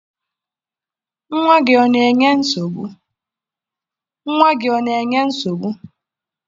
Nwa gị ọ na-enye gị nsogbu?